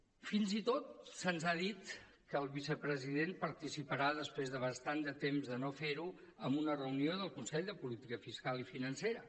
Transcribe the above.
fins i tot se’ns ha dit que el vicepresident participarà després de bastant de temps de no fer ho en una reunió del consell de política fiscal i financera